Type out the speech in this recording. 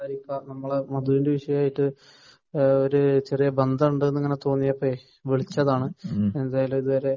നമ്മളെ മധുവിന്റെ വിഷയവുമായിട്ടു ബന്ധമുണ്ട് എന്ന് തോന്നിയതുകൊണ്ട് വിളിച്ചതാണ് എന്തായാലും ഇതുവരെ